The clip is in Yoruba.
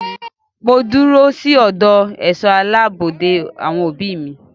Mo dúró sí ọ̀dọ̀ àwọn ẹ̀ṣọ́ aláàbò de àwọn òbí mi.